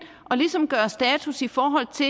ligesom at gøre status i forhold til